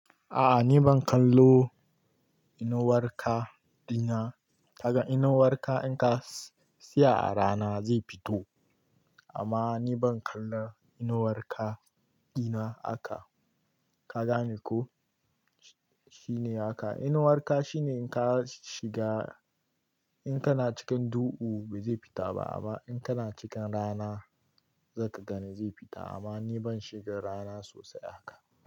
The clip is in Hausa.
A'a ni ban kallo inuwar ka ɗina. Kaga inuwar ka in ka tsaya a rana zai fito. Amma ni ban kallan inuwar ka ɗina aka. Ka gane ko? Shine aka. Inuwar ka shine in ka shiga in kana cikin duhu bai zai fita ba amma in kana cikin rana zaka gane zai fita. Amma ni ban shiga rana sosai aka.